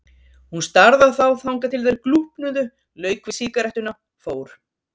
Hún starði á þá þangað til þeir glúpnuðu, lauk við sígarettuna, fór.